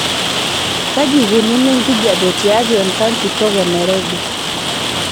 kaji eikununo enkijiape tiatua enkang' kitok enairobi